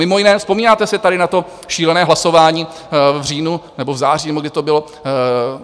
Mimo jiné, vzpomínáte si tady na to šílené hlasování v říjnu nebo v září, nebo kdy to bylo?